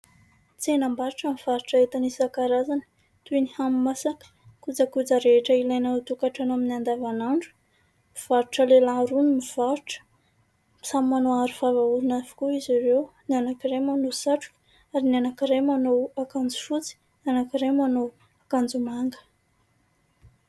Tsenam-barotra mivarotra entana isankarazany toy ny hani-masaka kojakoja rehetra ilaina ao an-tokantrano amin'ny andavanandro. Mpivarotra lehilahy roa ny mivarotra, samy manao arovava orona avokoa izy ireo, ny anankiray manao satroka ary ny anankiray manao akanjo fotsy ny anankiray manao akanjo manga.